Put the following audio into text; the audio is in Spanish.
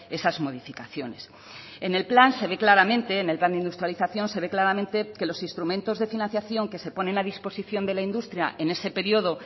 esas modificaciones en el plan se ve claramente en el plan de industrialización se ve claramente que los instrumentos de financiación que se ponen a disposición de la industria en ese periodo